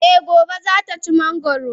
Eh Gobe ​​zata ci mangoro.